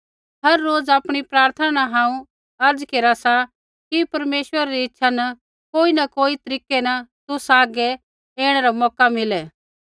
होर रोज़ आपणी प्रार्थना न हांऊँ अर्ज़ा केरा सा कि परमेश्वरा री इच्छा न कोई न कोई तरीकै न तुसा हागै ऐणै रा मौका मिलै